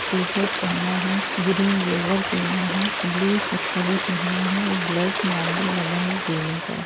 T shirt पहना है green lower पहना है ब्लू चप्पले पहना है और ब्लैक मार्बल लगा सीढ़ियों पर।